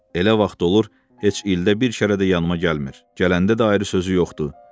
Elə vaxt olur, heç ildə bir də işarə də yanıma gəlmir, gələndə də ayrı sözü yoxdur.